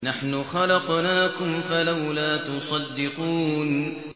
نَحْنُ خَلَقْنَاكُمْ فَلَوْلَا تُصَدِّقُونَ